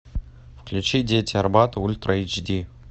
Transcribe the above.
включи дети арбата ультра эйч ди